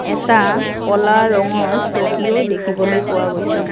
এটা ক'লা ৰঙৰ চকীও দেখিবলৈ পোৱা গৈছে।